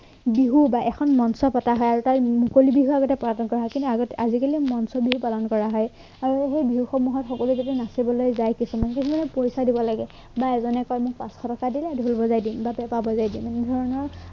বিহু বা এখন মঞ্চ পতা হয় আৰু তাৰ মুকলি বিভাগ এটা পদাৰ্পন কৰা হয় কিন্তু আগতে আজিকালি মঞ্চবিহু পালন কৰা হয় আৰু সেই বিহুসমূহত সকলো যদি নাচিবলৈ যায় কিছুমান যদি মানেপৰীক্ষা দিব লাগে বা এজনে কয় মোক পাঁচশ টকা দিলে ঢোল বজাই দিম বা পেপা বজাই দিম এনেধৰণৰ